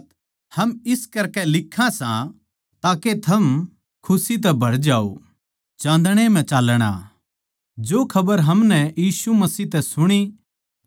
जो खबर हमनै यीशु मसीह तै सुणी अर थमनै सुणावां सां वो या सै के परमेसवर चान्दणे के समान पवित्र सै अर उस म्ह कुछ भी अन्धकार के समान कोए बुराई कोनी